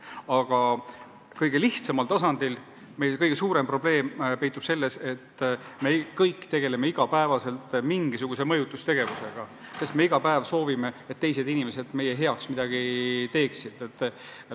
Aga kõige lihtsamal tasandil peitub kõige suurem probleem selles, et me kõik tegeleme iga päev mingisuguse mõjutamisega – me iga päev soovime, et teised inimesed teeksid midagi sellist, mida me tahame.